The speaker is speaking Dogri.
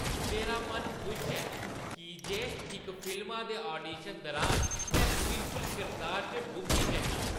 मेरा मन खुश ऐ की जे इक फिल्मा दे ऑडिशन दुरान में बिल्कुल किरदार च डुब्बी जन्नां।